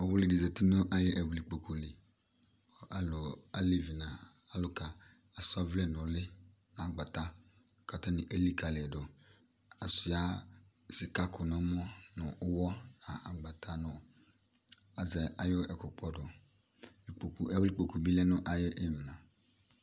Ɔwli di zati nʋ ayʋ ɛwli kpolu li Alevi n'alʋka asa ɔvlɛ n'uli, n'agbata k'atani elikali yi dʋ, Asua sika kʋ n"ɔmɔ, nʋ ʋwɔ, n'agbata, nʋ azɛ ayʋ ɛkʋkpɔdʋ, ikpoku, ɛwli kpoku bi lɛ n'ayʋ imla